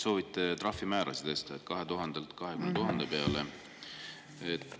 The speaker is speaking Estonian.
Soovite trahvimäärasid tõsta 2000 euro pealt 20 000 peale.